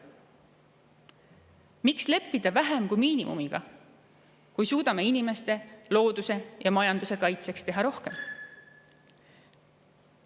Miks leppida vähem kui miinimumiga, kui suudame inimeste, looduse ja majanduse kaitseks teha rohkem?